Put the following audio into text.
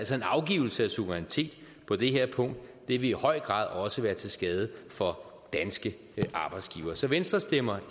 så en afgivelse af suverænitet på det her punkt vil i høj grad også være til skade for danske arbejdstagere så venstre stemmer